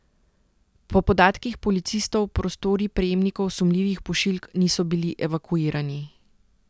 Po podatkih policistov prostori prejemnikov sumljivih pošiljk niso bili evakuirani.